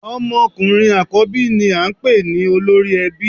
Ọmọ ọkùnrin àkọ́bí ni à n pè ní Olórí Ẹbí